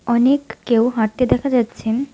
অনেক কেউ হাঁটতে দেখা যাচ্ছেন।